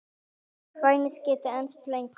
En kvefið gæti enst lengur.